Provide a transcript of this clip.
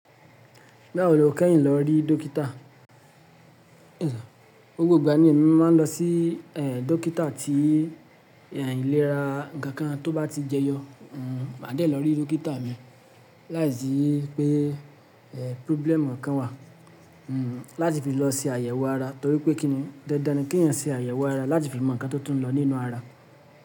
Báwo lo kẹ́yìn lọ rí dókítà? Gbogbo ìgbà ni mo máa ń lọ sí ẹ̀ dókítà tí ìlera ǹkan kan tó bá ti jẹyọ, màá dé lọ rí dókítà mi láìsí pé problem kan wà láti fi lọ se àyẹ̀wò ara torí pé kí ni, dandan ni kí ènìyàn ṣe àyẹ̀wò ara láti fi mọ ǹkan tó tún ń lọ nínú ara.